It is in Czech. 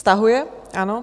Stahuje, ano.